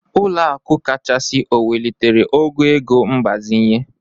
Ụlọaku kachasị o welitere ogo ego mgbazinye?